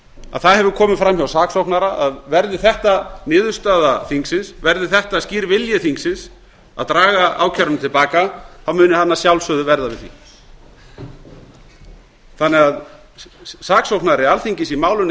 að það hefur komið fram hjá saksóknara að verði þetta skýr vilji þingsins að draga ákæruna til baka þá muni hann að sjálfsögðu verða við því þannig að saksóknari alþingis í málinu